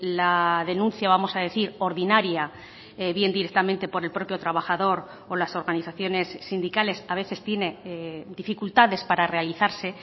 la denuncia vamos a decir ordinaria bien directamente por el propio trabajador o las organizaciones sindicales a veces tiene dificultades para realizarse